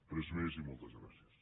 res més i moltes gràcies